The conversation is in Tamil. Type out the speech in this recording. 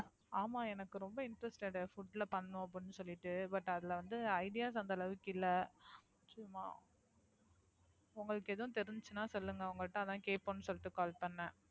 ஆமா எனக்கு ரொம்ப Interested food ல பண்ணனும் அப்படின்னு சொல்லிட்டு But அதுல வந்து Ideas அந்த அளவுக்கு இல்ல. சும்மா . உங்களுக்கு எதும் தெரிஞ்சுச்சுனா சொல்லுங்க. உங்கள்ட்ட அதான் கேப்போம்னு சொல்லிட்டு Call பண்ணேன்.